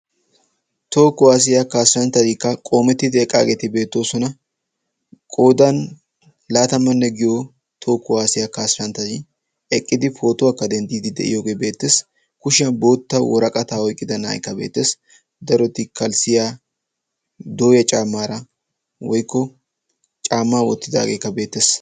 toho kuwaasiyaa kaassanchchaatikka qoomettidi eqqaageeti beettoosona qodan laatamanne giyo toho kuwaasiyaa kaassanchchadi eqqidi pootuwaakka denttiidi de'iyoogee beettees kushiyan bootta woraqataa oiqqida naa'aykka beettees daroti kalssiya dooya caamaara woykko caammaa wottidaageekka beettees